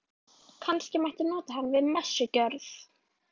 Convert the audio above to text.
Kannski megi nota hann við messugjörð.